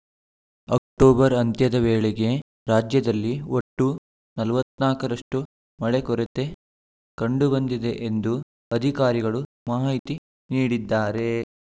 October ಅಂತ್ಯದ ವೇಳೆಗೆ ರಾಜ್ಯದಲ್ಲಿ ಒಟ್ಟು ನಲವತ್ತ್ ನಾಲ್ಕರಷ್ಟುಮಳೆ ಕೊರತೆ ಕಂಡು ಬಂದಿದೆ ಎಂದು ಅಧಿಕಾರಿಗಳು ಮಾಹಿತಿ ನೀಡಿದ್ದಾರೆ